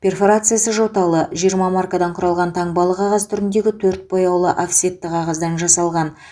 перфорациясы жоталы жиырма маркадан құралған таңбалы қағаз түріндегі төрт бояулы офсетті қағаздан жасалған